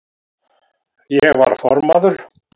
Ég var formaður